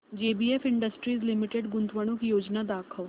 JBF industries limited गुंतवणूक योजना दाखव